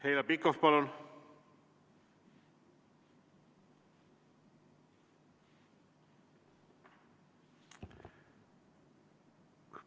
Heljo Pikhof, palun!